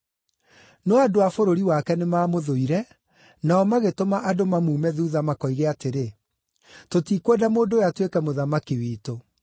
“No andũ a bũrũri wake nĩmamũthũire, nao magĩtũma andũ mamuume thuutha makoige atĩrĩ, ‘Tũtikwenda mũndũ ũyũ atuĩke mũthamaki witũ.’